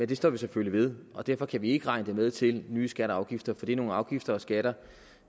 det står vi selvfølgelig ved og derfor kan vi ikke regne det med til nye skatter og afgifter for det er nogle afgifter og skatter